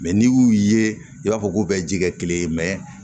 n'i y'u ye i b'a fɔ k'u bɛ ji kɛ kelen ye